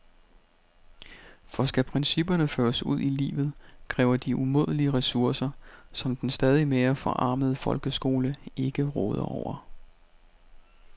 For skal principperne føres ud i livet, kræver de umådelige ressourcer, som den stadigt mere forarmede folkeskole ikke råder over.